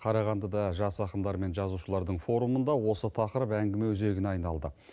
қарағандыда жас ақындар мен жазушылардың форумында осы тақырып әңгіме өзегіне айналды